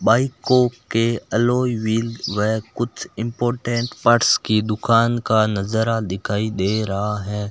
बाइको के alloy wheel व कुछ इंपॉर्टेंट पार्ट्स की दुकान का नजारा दिखाई दे रहा है।